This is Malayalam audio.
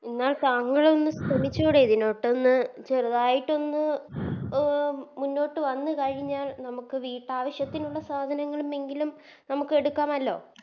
എന്നാൽ താങ്കളൊന്ന് ശ്രമിച്ചൂടെ ഇതിലൊട്ടൊന്ന് ചെറുതായിട്ടൊന്ന് അഹ് മുന്നോട്ട് വന്ന് കഴിഞ്ഞാൽ നമുക്ക് വീട്ടാവശ്യത്തിനുള്ള സാധനങ്ങളും എങ്കിലും നമുക്കെടുക്കാമല്ലോ